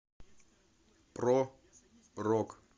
про рок